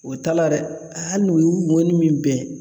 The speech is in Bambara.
O t'a la dɛ hali n'u y'u ŋɔni min bɛn